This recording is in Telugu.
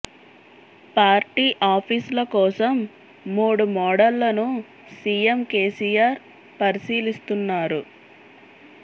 పార్టీ ఆఫీస్ ల కోసం మూడు మోడళ్లను సీఎం కేసీఆర్ పరిశీలిస్తున్నారు